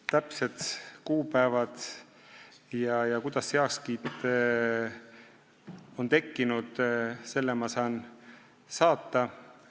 Täpsed kuupäevad ja selle info, kuidas see heakskiit on tekkinud, ma saan teile saata.